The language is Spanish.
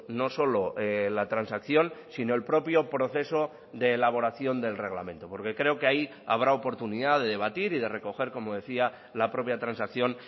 no solo la transacción sino el propio proceso de elaboración del reglamento porque creo que ahí habrá oportunidad de debatir y de recoger como decía la propia transacción